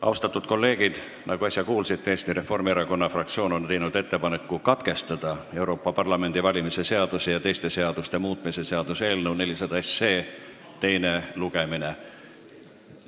Austatud kolleegid, nagu äsja kuulsite, Eesti Reformierakonna fraktsioon on teinud ettepaneku katkestada Euroopa Parlamendi valimise seaduse ja teiste seaduste muutmise seaduse eelnõu 400 teine lugemine.